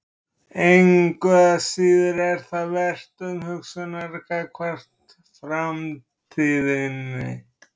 Engu að síður er það vert umhugsunar gagnvart framtíðinni.